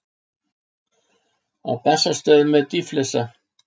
Á Bessastöðum er dýflissa.